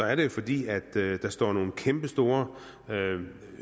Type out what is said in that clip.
er det jo fordi der står nogle kæmpestore